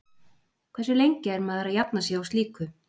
Hversu lengi er maður að jafna sig á slíku?